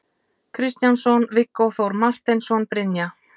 Kristjánsson, Viggó Þór Marteinsson, Brynja